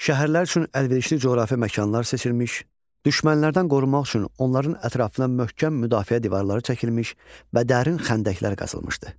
Şəhərlər üçün əlverişli coğrafi məkanlar seçilmiş, düşmənlərdən qorunmaq üçün onların ətrafına möhkəm müdafiə divarları çəkilmiş və dərin xəndəklər qazılmışdı.